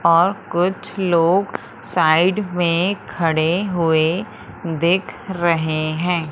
और कुछ लोग साइड में खड़े हुए दिख रहे हैं।